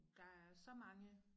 Der er så mange